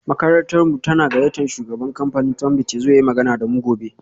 Makarantarmu tana gayyatar shugaban kamfanin Tunbit ya zo ya yi magana da mu gobe